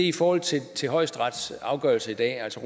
i forhold til til højesterets afgørelse i dag altså